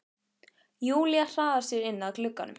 Júlía hraðar sér inn að glugganum.